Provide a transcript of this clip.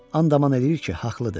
Andaman eləyir ki, haqlıdır.